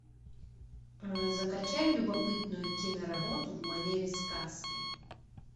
закачай любопытную киноработу в манере сказки